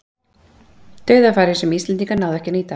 Dauðafæri sem íslendingar náðu ekki að nýta.